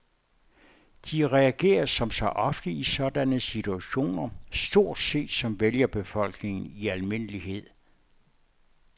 De reagerer som så ofte i sådanne situationer stort set som vælgerbefolkningen i almindelighed.